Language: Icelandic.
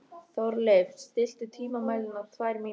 Þórleif, stilltu tímamælinn á tvær mínútur.